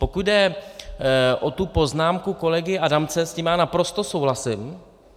Pokud jde o tu poznámku kolegy Adamce, s tím já naprosto souhlasím.